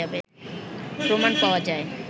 প্রমাণ পাওয়া যায়